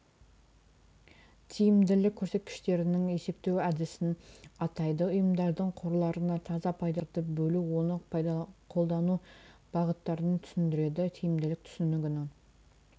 тиімділік көрсеткіштерінің есептеу әдісін атайды ұйымдардың қорларына таза пайдаларды бөлу оны қолдану бағыттарын түсіндіреді тиімділік түсінігінің